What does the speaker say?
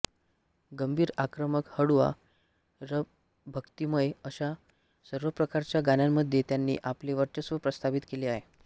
गंभीरआक्रमकहळुवारभक्तिमय अशा सर्व प्रकारच्या गाण्यांमध्ये त्यांनी आपले वर्चस्व प्रस्थापित केले आहे